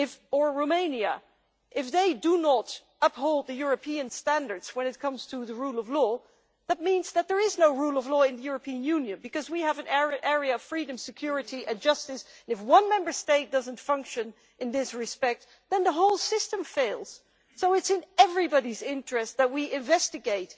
or Romania does not uphold the European standards when it comes to the rule of law, that means that there is no rule of law in the European Union. We have an area of freedom, security and justice, so if one Member State doesn't function in this respect, then the whole system fails. So it is in everybody's interests that we investigate.